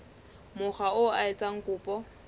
mokga oo a etsang kopo